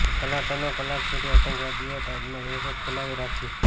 કલાકોના કલાકો સુધી આતંકવાદીઓએ તાજમાં દહેશત ફેલાવે રાખી